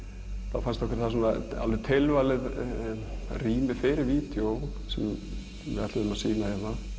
þá fannst okkur það tilvalið rými fyrir vídeó sem við ætluðum að sýna